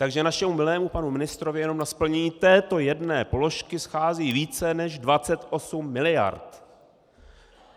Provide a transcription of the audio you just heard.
Takže našemu milému panu ministrovi jenom na splnění této jedné položky schází více než 28 mld.!